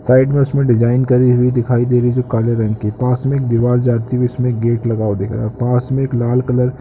side में उसमें design करि हुई दिखाई दे रही है जो काले रंग की पास में एक दीवाल जाती हुई जिसमें गेट लगा हुआ दिख रहा है पास में एक लाल कलर --